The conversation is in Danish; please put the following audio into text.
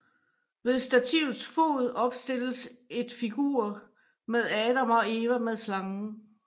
Ved stativets fod opstilles et figur med Adam og Eva med slangen